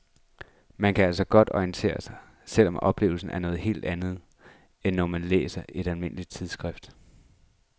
Man kan altså godt orientere sig, selv om oplevelsen er noget helt andet, end når man læser i et almindeligt tidsskrift.